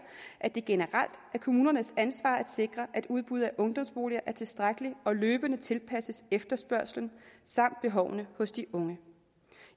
at det generelt er kommunernes ansvar at sikre at udbuddet af ungdomsboliger er tilstrækkeligt og løbende tilpasses efterspørgslen samt behovene hos de unge